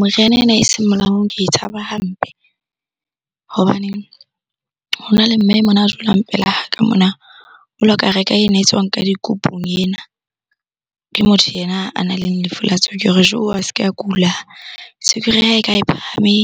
Moriana ena eseng molaong ke e tshaba hampe. Hobaneng hona le mme mona a dulang pela ka mona, o la ka reka ena e tswang ka dikupung ena. Ke motho yena a nang le lefu la tswekere. A se ke a kula, tswekere ya hae kha e phahame